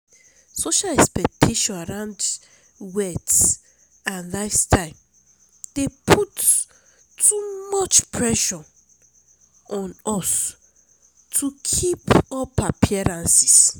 social expectations around wealth and lifestyle dey put too much pressure on us to keep up appearances.